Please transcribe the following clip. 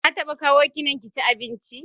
Ya taɓa kawo ki nan kici abinci?